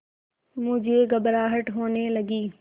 मुझे घबराहट होने लगी